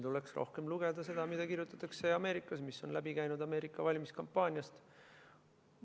Tuleks rohkem lugeda seda, mida kirjutatakse Ameerikas, seda, mis on läbi käinud Ameerika valimiskampaaniast.